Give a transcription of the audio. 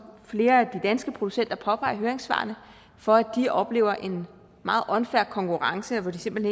flere af de danske producenter påpeger i høringssvarene for at de oplever en meget unfair konkurrence hvor de simpelt